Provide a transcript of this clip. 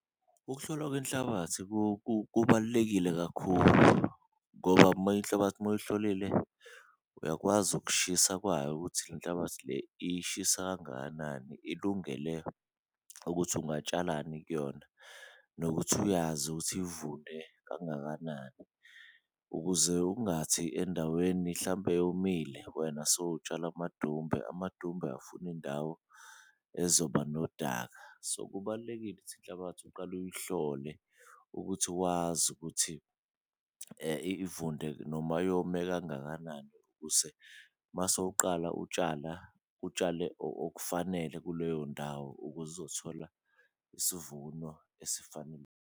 Ukuhlolwa kwenhlabathi kubalulekile kakhulu ngoba uma inhlabathi uma uyihlolile uyakwazi ukushisa kwayo ukuthi lenhlabathi le ishisa kangakanani, ilungele ukuthi ungatshalani kuyona nokuthi uyazi ukuthi ivunde kangakanani. Ukuze ungathi endaweni hlampe eyomile wena sowutshala amadumbe, amadumbe afuna indawo ezoba nodaka, so kubalulekile ukuthi inhlabathi uqale uyihlole ukuthi wazi ukuthi ivunde noma yome kangakanani. Ukuze masewuqala utshala utshale okufanele kuleyo ndawo ukuze uzothola isivuno .